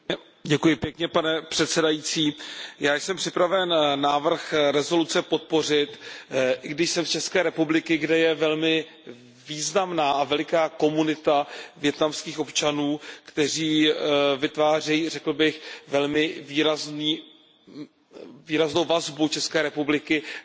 Pane předsedající, já jsem připraven návrh rezoluce podpořit, i když jsem z České republiky, kde je velmi významná a veliká komunita vietnamských občanů, kteří vytvářejí, řekl bych, velmi výraznou vazbu České republiky na Vietnam.